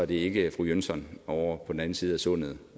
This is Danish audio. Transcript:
ikke er fru jönsson ovre på den anden side af sundet